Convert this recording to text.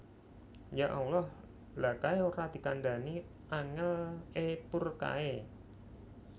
Ya Allah lha kae ra dikandani angel e poor kae